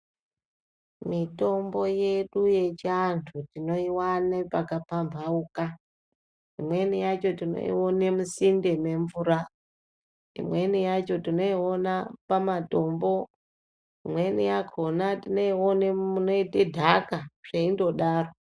Mitombo yedu yechiantu tinoiwane pakapamhauka, imweni yacho tinoione musinde mwemvura, imweni yacho tinoione pamatombo, imweni yakona tinoione munoite nhaka zveindodaro.